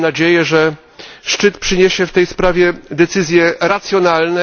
Mam nadzieję, że szczyt przyniesie w tej sprawie decyzje racjonalne.